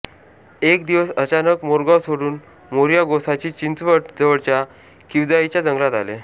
एक दिवस अचानक मोरगाव सोडून मोरया गोसावी चिंचवड जवळच्या किवजाईच्या जंगलात आले